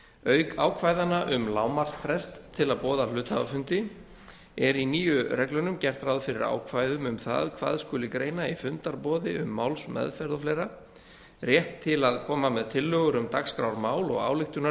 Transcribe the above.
auk ákvæðanna um lágmarksfrest til að boða hluthafafundi er í nýju reglunum gert ráð fyrir ákvæðum um það hvað skuli greina í fundarboði um málsmeðferð og fleiri rétt til að koma með tillögur um dagskrármál og